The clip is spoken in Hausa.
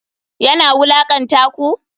Yana wulakanta ku?